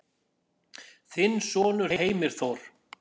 Þinn sonur Heimir Þór.